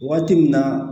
Waati min na